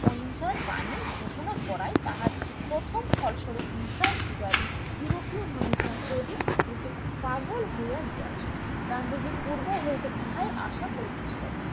অহিংসার বাণী ঘোষণাকরা তাহার প্রথম ফল সরূপঃ হিংসার পূজারী ইউরোপীয় মানুষরা ক্রোধে পরে পাগল হইয়া গিয়াছে গান্ধীজি পূর্ব হইতে ইহাই আশা করিতেছিলেন